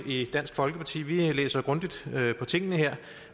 i dansk folkeparti vi læser grundigt på tingene